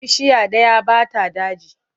Bishiya ɗaya ba ta daji.